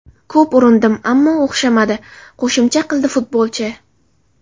Ko‘p urindim, ammo o‘xshamadi”, qo‘shimcha qildi futbolchi.